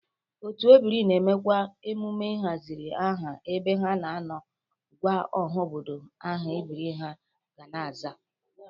Otu ebiri na-emekwa emume ịzara aha ebe ha na-anọ gwa ọha obodo aha ebiri ha ga na-aza